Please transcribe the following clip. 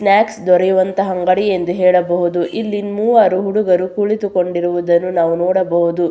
ಪ್ಲಾಕ್ಸ್ ದೊರೆಯುವಂತಹ ಅಂಗಡಿ ಎಂದು ಹೇಳಬಹುದು ಇಲ್ಲಿ ಮೂವರು ಹುಡುಗರು ಕುಳಿತುಕೊಂಡಿರುವುದನ್ನು ನಾವು ನೋಡಬಹುದು.